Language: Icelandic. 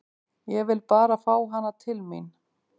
Ég vil bara fá hana til mín.